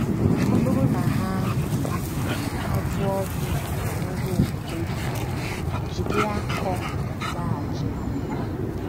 Ọ bụrụ na ha ajụọ gị banyere omume gị, jiri akọ zaghachi ha.